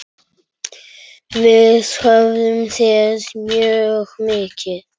Við höfum séð mjög mikið.